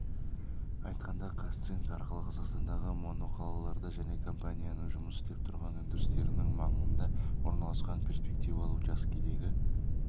айтқанда қазцинк арқылы қазақстандағы моноқалаларда және компанияның жұмыс істеп тұрған өндірістерінің маңында орналасқан перспективалы учаскедегі